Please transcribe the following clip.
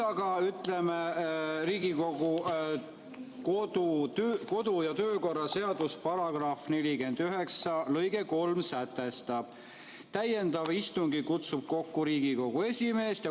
Aga Riigikogu kodu- ja töökorra seaduse § 49 lõige 3 sätestab: "Täiendava istungi kutsub kokku Riigikogu esimees.